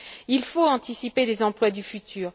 Il faut anticiper les emplois du futur.